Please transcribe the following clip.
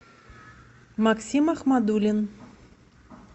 максим ахмадуллин